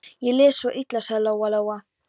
Ég les svo illa, sagði Lóa Lóa.